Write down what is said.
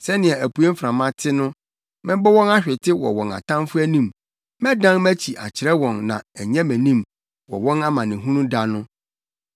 Sɛnea apuei mframa te no, mɛbɔ wɔn ahwete wɔ wɔn atamfo anim; mɛdan mʼakyi akyerɛ wɔn na ɛnyɛ mʼanim wɔ wɔn amanehunu da no.”